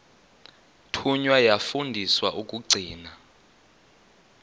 thunywa yafundiswa ukugcina